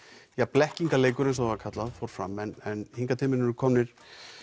blekkingarleikur eins og það var kallað fór fram hingað til mín eru komnir